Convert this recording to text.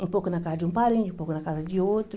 Um pouco na casa de um parente, um pouco na casa de outro.